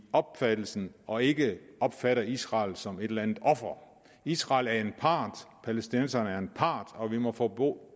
opfattelse og ikke opfatter israel som et eller andet offer israel er en part og palæstinenserne er en part og vi må formå